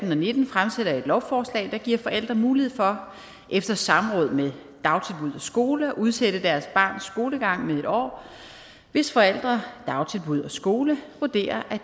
nitten fremsætter et lovforslag der giver forældre mulighed for efter samråd med dagtilbud og skole at udsætte deres barns skolegang med en år hvis forældre dagtilbud og skole vurderer at